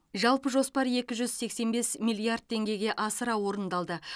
жалпы жоспар екі жүз сексен бес миллиард теңгеге асыра орындалды